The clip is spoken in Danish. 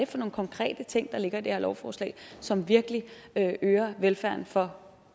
for nogle konkrete ting der ligger i det her lovforslag som virkelig øger velfærden for